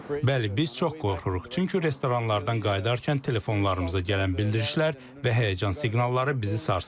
Bəli, biz çox qorxuruq, çünki restoranlardan qayıdarkən telefonlarımıza gələn bildirişlər və həyəcan siqnalları bizi sarsıdıb.